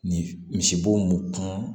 Ni misibo mun kan